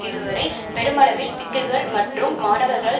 இதுவரை பெருமளவில் பிக்குகள் மற்றும் மாணவர்களால்